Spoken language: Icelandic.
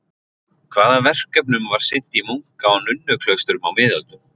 Hvaða verkefnum var sinnt í munka- og nunnuklaustrum á miðöldum?